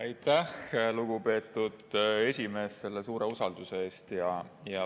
Aitäh, lugupeetud esimees, selle suure usalduse eest!